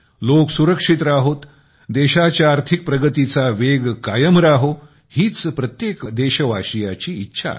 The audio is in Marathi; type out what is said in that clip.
लोक सुरक्षित राहोत देशाच्या आर्थिक प्रगतीचा वेग कायम राहो हीच प्रत्येक देशवासीयाची इच्छा आहे